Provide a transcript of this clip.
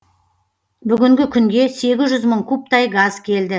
бүгінгі күнге сегіз жүз мың кубтай газ келді